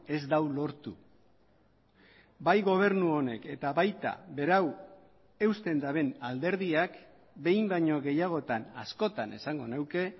ez du lortu bai gobernu honek eta baita berau eusten duten alderdiak behin baino gehiagotan askotan esango nuke